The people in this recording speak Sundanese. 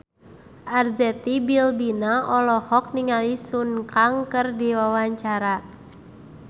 Arzetti Bilbina olohok ningali Sun Kang keur diwawancara